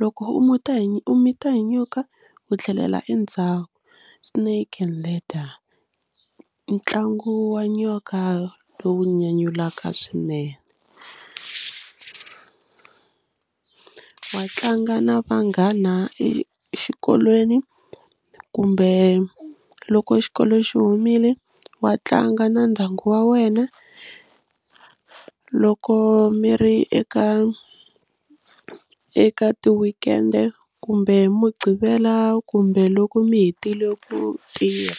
loko u hi u mita hi nyoka u tlhelela endzhaku snake and ladder ntlangu wa nyoka lowu nyanyulaka swinene, wa tlanga na vanghana exikolweni kumbe loko xikolo xi humile wa tlanga na ndyangu wa wena loko mi ri eka eka ti-weekend-e kumbe hi Muqgivela kumbe loko mi hetile ku tirha.